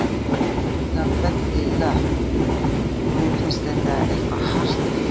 Hann er kallaður Böddi löpp og mér finnst eitthvað hart við það.